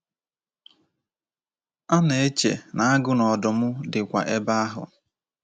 A na-eche na agụ na ọdụm dịkwa ebe ahụ.